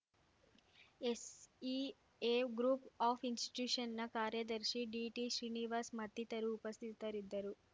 SEA group of ಇನ್ಸ್‌ಟ್ಯೂಷನ್‌ನ ಕಾರ್ಯದರ್ಶಿ ಡಿಟಿಶ್ರೀನಿವಾಸ್‌ ಮತ್ತಿತರು ಉಪಸ್ಥಿತರಿದ್ದರು